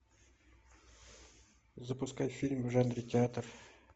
запускай фильм в жанре театр